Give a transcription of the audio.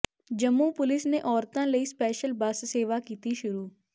Jammu police ਨੇ ਔਰਤਾਂ ਲਈ ਸਪੈਸ਼ਲ ਬੱਸ ਸੇਵਾ ਕੀਤੀ ਸ਼ੁਰੂ